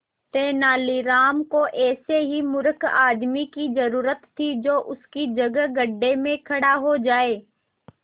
तेनालीराम को ऐसे ही मूर्ख आदमी की जरूरत थी जो उसकी जगह गड्ढे में खड़ा हो जाए